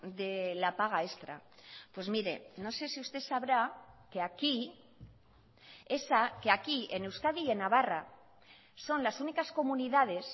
de la paga extra pues mire no sé si usted sabrá que aquí esa que aquí en euskadi y en navarra son las únicas comunidades